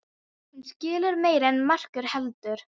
Hún skilur meira en margur heldur.